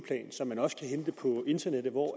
plan som man også kan hente på internettet hvor